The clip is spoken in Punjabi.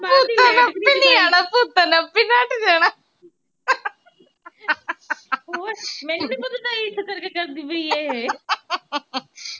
ਮੈਨੂੰ ਨੀ ਪਤਾ ਕਰਦੀ ਪਈ ਇਹ।